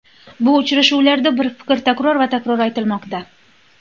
Bu uchrashuvlarda bir fikr takror va takror aytilmoqda.